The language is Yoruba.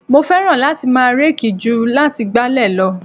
Mo fẹ́ràn láti máa reeki ju láti gbálẹ̀ lọ.